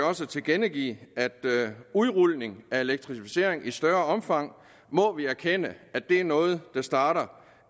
også at tilkendegive at udrulning af elektrificeringen i større omfang må vi erkende er noget der starter